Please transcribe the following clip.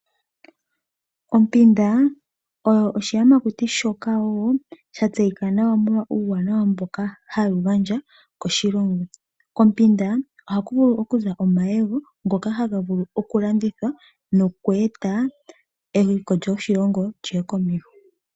Ompinda oyo oshiyamakuti shoka wo shatseyika nawa omolwaa uuwanawa mboka hayi gandja koshilongo. Kompinda ohaku vulu okuza omayego ngoka haga vulu okulandithwa nokweeta eliko lyoshilongo lyiye komeho.